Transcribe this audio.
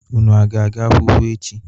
Un aga-aga akwụkwọ echi.